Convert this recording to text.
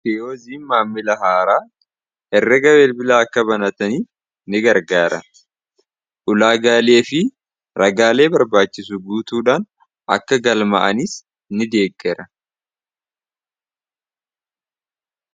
koyziin maamila haaraa herreega beel bilaa akka banatanii ni gargaara ulaagaalee fi ragaalee barbaachisu guutuudhaan akka galma'aniis ni deeggera